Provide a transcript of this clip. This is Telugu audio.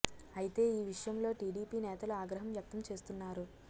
అయితే ఈ విషయంలో టిడిపి నేతలు ఆగ్రహం వ్యక్తం చేస్తున్నారు